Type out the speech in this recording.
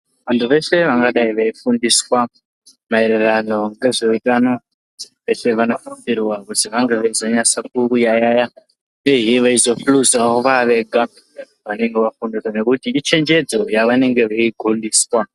Vantu veshe vanga dai vei fundiswa maererano ngezve utano veshe vano sisirwa kuzi vange veizo nyasa kuyaya uyehe veizo hluzawo va vega vanenge vafundiswa nekuti ichenjedzo ya vanenge vei gondeswa.